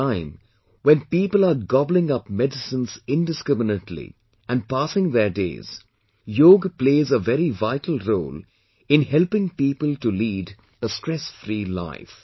At a time when People are gobbling up medicines indiscriminately and passing their days, Yoga plays a very vital role in helping people to lead a stressfree life